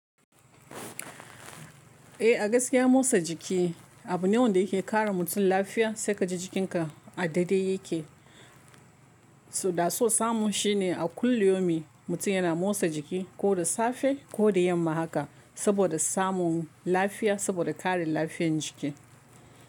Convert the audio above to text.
Eh, a gaskiya motsa jiki abu ne wanda yake ƙara mutum lafiya, sai ka ji jikinka a daidai yake. Da so samu shi ne a kulli yaumin mutum yana motsa jiki ko da safe ko da yamma haka saboda samun lafiya, saboda ƙare lafiyan jiki.